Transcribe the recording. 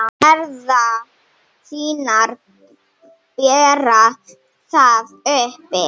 Herðar þínar bera það uppi.